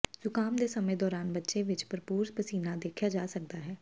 ਜ਼ੁਕਾਮ ਦੇ ਸਮੇਂ ਦੌਰਾਨ ਬੱਚੇ ਵਿੱਚ ਭਰਪੂਰ ਪਸੀਨਾ ਦੇਖਿਆ ਜਾ ਸਕਦਾ ਹੈ